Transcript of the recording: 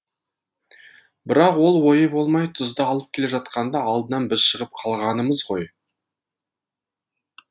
бірақ ол ойы болмай тұзды алып келе жатқанда алдынан біз шығып қалғанымыз ғой